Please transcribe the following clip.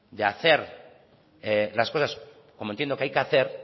de hacer las cosas como entiendo que hay que hacer